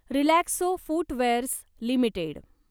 Relaxo footwears limited